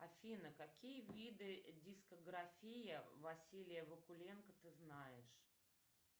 афина какие виды дискография василия вакуленко ты знаешь